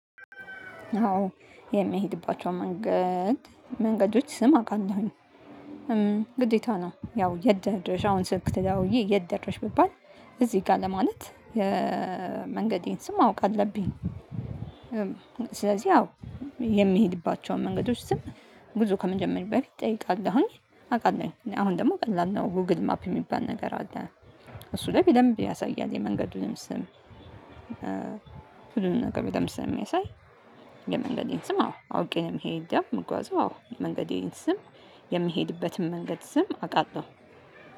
አዎ የምሄድባቸው መንገድ መንገዶች ስም አቃለሁኝ። ግዴታ ነው! ያው የት ደረሽ አሁን ስልክ ተደዋውዬ የት ደረሽ? ብባል እዚህ ጋር ለማለት የመንገዴን ስም ማወቅ አለብኝ ስለዚህ አዎ የምሄድባቸውን መንገዶች ስም ጉዞ ከመጀመሬ በፊት ጠይቃለሁኝ አውቃለሁኝ። አሁን ደግሞ ቀላል ነው ጎግል ማፕ ሚባል ነገር አለ። እሱ ላይ በደንብ ያሳያል። የመንገዱንም ስም ሁሉንም ነገር በደንብ ስለሚያሳይ የመንገዴን ስም አዎ አውቄ ነው ምሄደው ምጓዘው አዎ የመንገዴን ስም የምሄድበትን መንገድ ስም አውቃለሁ።